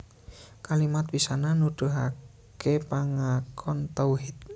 Kalimat pisanan nuduhaké pangakon tauhid